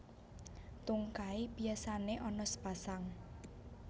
Tungkai biasané ana sepasang